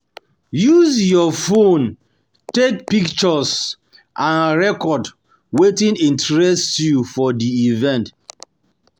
Use your phone take your phone take pictures and record wetin interest you for di event